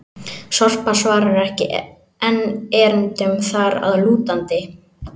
Sorpa svarar ekki enn erindum þar að lútandi!